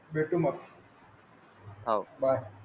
भेटू मग. हो bye